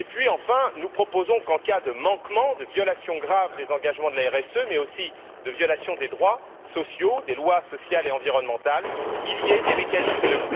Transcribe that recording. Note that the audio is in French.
Enfin, nous proposons qu'en cas de manquement, de violation grave des engagements de la RSE, mais aussi de violation des droits sociaux, des lois sociales et environnementales, il y ait des mécanismes de